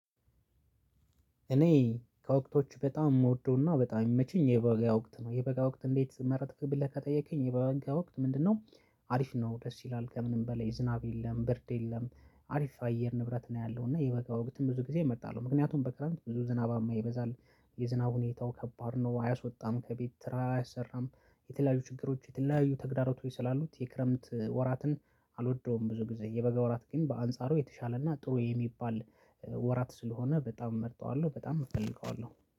እኔ ከወቅቶቹ በጣም የምወደውና በጣም የሚመቸኝ የበጋ ወቅት ነው የበጋ ወቅት እንዴት መረጥክ ብለህ ከጠየቀኝ የበጋ ወቅት ምንድነው? አሪፍ ነው ደስ ይላል ከምንም በላይ ዝናብ የለም ብርድ የለም አሪፍ አየር ንብረት ነው ያለው እና የበጋ ወቅትም ብዙ ጊዜ እመርጣለሁ። ምክንያቱም በክረምት ብዙ ዝናባማ ይበዛል። የዝናብ ሁኔታው ከባድ ነው አያሶጣም ከቤት ስራ አያሰራም። የተለያዩ ችግሮች የተለያዩ ተግዳሮቶች ስላሉት የክረምት ወራትን አልወደውም። ብዙ ጊዜ የበገ ወራት ግን በአንጻሩ የተሻለና ጥሩ የሚባል ወራት ስለሆነ በጣም እመርጠዋለሁ። በጣም እፈልገዋለሁ